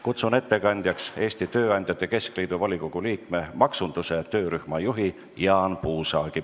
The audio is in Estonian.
Kutsun ettekandjaks Eesti Tööandjate Keskliidu volikogu liikme, maksunduse töörühma juhi Jaan Puusaagi.